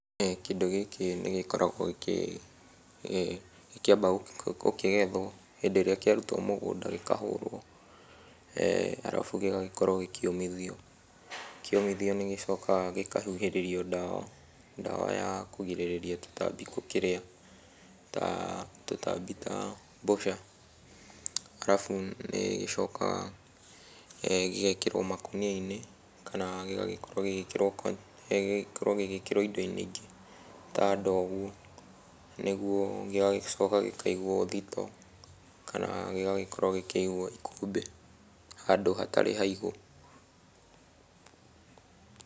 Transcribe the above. Kĩndũ gĩkĩ nĩ gĩkoragwo gĩkĩamba gũkĩgethwo, hĩndĩ ĩrĩa kĩarutwo mũgũnda gĩkahũrwo, arabu gĩgagĩkorwo gĩkĩũmithio. Kĩomithio nĩgĩcokaga gĩkahuhĩrĩrio ndawa, ndawa ya kũgirĩrĩria tũtambi gũkĩria. Tũtambi ta, mbũca. Arabu nĩ nĩgĩcokaga gĩgekĩrwo makũnia-inĩ kana gĩgakorwo gĩgĩkĩrwo indo-inĩ ingĩ ta ndoo ũguo, nĩguo gĩgagĩcoka gĩkaigwo thitoo, kana gĩgagĩkorwo gĩkĩigwo ikũmbĩ, handũ hatarĩ haigũ.